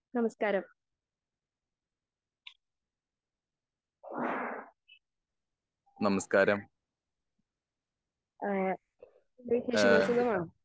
നമസ്കാരം ഏഹ്